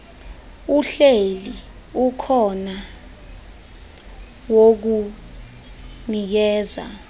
uhleli ukhona wokunikeza